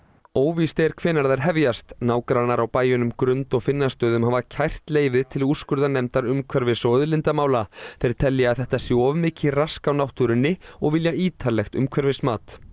óvíst er hvenær þær hefjast nágrannar á bæjunum Grund og Finnastöðum hafa kært leyfið til úrskurðarnefndar umhverfis og auðlindamála þeir telja að þetta sé of mikið rask á náttúrunni og vilja ítarlegt umhverfismat